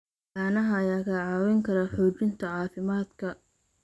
Caanaha ayaa kaa caawin kara xoojinta caafimaadka.